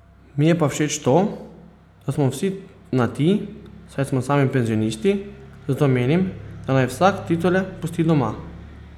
Mi je pa všeč to, da smo vsi na ti, saj smo sami penzionisti, zato menim, da naj vsak titule pusti doma.